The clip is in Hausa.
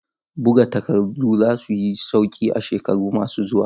Buga takardu za su yi sauƙi a shekaru masu zuwa.